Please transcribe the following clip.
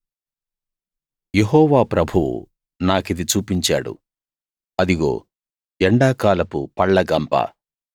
యెహోవా ప్రభువు నాకిది చూపించాడు అదిగో ఎండాకాలపు పళ్ళ గంప